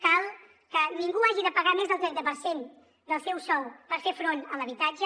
cal que ningú hagi de pagar més del trenta per cent del seu sou per fer front a l’habitatge